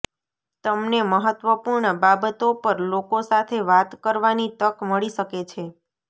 તમને મહત્વપૂર્ણ બાબતો પર લોકો સાથે વાત કરવાની તક મળી શકે છે